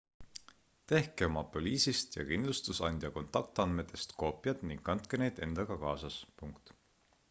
tehke oma poliisist ja kindlustusandja kontaktandmetest koopiad ning kandke neid endaga kaasas